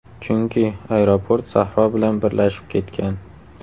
Chunki, aeroport sahro bilan birlashib ketgan.